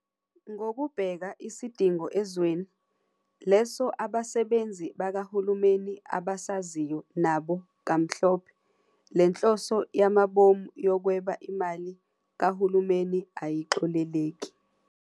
Ngokubheka isidingo ezweni, leso abasebenzi bakahulumeni abasaziyo nabo kamhlophe, lenhloso yamabomu yokweba imali kahulumeni ayixoleleki.